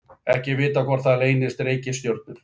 Ekki er vitað hvort þar leynast reikistjörnur.